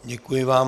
Děkuji vám.